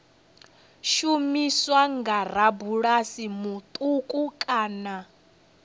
shumiswa nga rabulasi muṱuku kana